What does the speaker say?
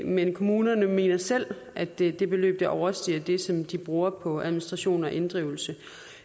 men kommunerne mener selv at det det beløb ikke overstiger det som de bruger på administration og inddrivelse